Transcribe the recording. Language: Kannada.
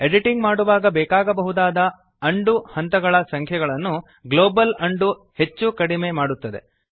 ಎಡಿಟಿಂಗ್ ಮಾಡುವಾಗ ಬೇಕಾಗಬಹುದಾದ ಅನ್ ಡು ಹಂತಗಳ ಸಂಖ್ಯೆಯನ್ನು ಗ್ಲೋಬಲ್ ಉಂಡೋ ಹೆಚ್ಚುಕಡಿಮೆ ಮಾಡುತ್ತದೆ